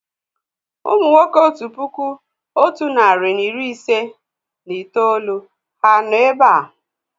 Ụmụ nwoke otu puku otu narị na iri ise na itoolu ha nọ̀ èbé à?